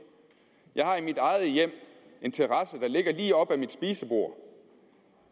jeg har i mit eget hjem en terrasse der ligger lige op ad mit spisebord